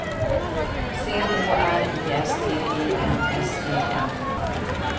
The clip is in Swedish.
C H R I S T E N S E N